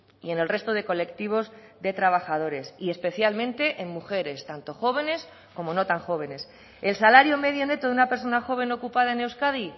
y en el resto de colectivos de trabajadores y especialmente en mujeres tanto jóvenes como no tan jóvenes el salario medio neto de una persona joven ocupada en euskadi